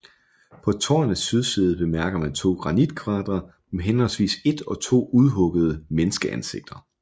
På tårnets sydside bemærker man to granitkvadre med henholdsvis et og to udhuggede menneskeansigter